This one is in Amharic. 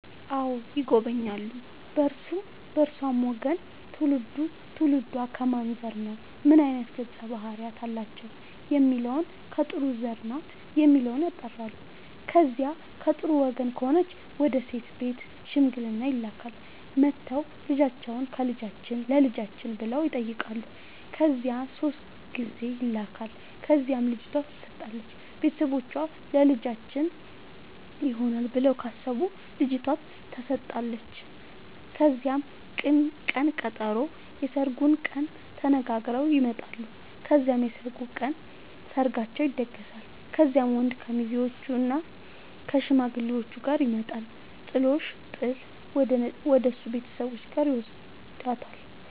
አዎ ይጎበኛሉ በእርሱም በእርሷም ወገን ትውልዱ ትውልዷ ከማን ዘር ነው ምን አይነት ገፀ ባህርያት አላቸው የሚለውን ከጥሩ ዘር ናት የሚለውን ያጣራሉ። ከዚያ ከጥሩ ወገን ከሆነች ወደ ሴት ቤት ሽምግልና ይላካል። መጥተው ልጃችሁን ለልጃችን ብለው ይጠያቃሉ ከዚያ ሶስት ጊዜ ይላካል ከዚያም ልጅቷ ትሰጣለች ቤተሰቦቿ ለልጃችን ይሆናል ብለው ካሰቡ ልጇቷ ተሰጣለች ከዚያም ቅን ቀጠሮ የስርጉን ቀን ተነጋግረው ይመጣሉ ከዚያም የሰርጉ ቀን ሰርጋቸው ይደገሳል። ከዚያም ወንድ ከሙዜዎችእና ከሽማግሌዎቹ ጋር ይመጣና ጥሎሽ ጥል ወደሱ ቤተሰቦች ጋር ይውስዳታል።